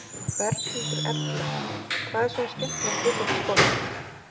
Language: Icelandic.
Berghildur Erla: Hvað er svona skemmtilegt við þetta sport?